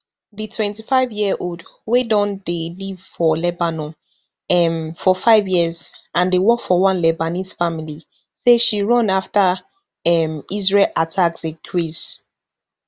di twenty-fiveyearold wey don dey live for lebanon um for five years and dey work for one lebanese family say she run afta um israel attacks increase